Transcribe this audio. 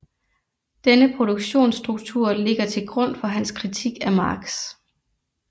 Denne produktionsstruktur ligger til grund for hans kritik af Marx